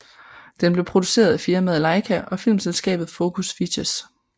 Den blev produceret af firmaet LAIKA og filmselskabet Focus Features